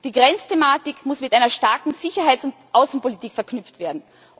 Die Grenzthematik muss mit einer starken Sicherheits und Außenpolitik verknüpft werden.